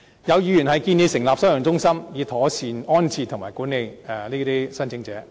有議員建議成立收容中心，以妥善安置和管理這些聲請者。